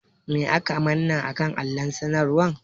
Me aka manna a kan allon sanarwan?